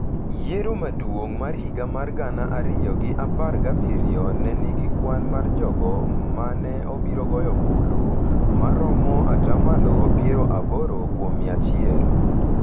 Yiero maduong’ mar higa mar gana ariyo gi apar gabiriyo ne nigi kwan mar jogo ma ne obiro goyo ombulu ma romo ata malo piero aboro kuom mia achiel